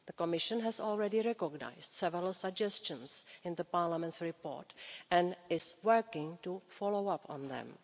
The Commission has already recognised several suggestions in Parliament's report and is working to follow up on them.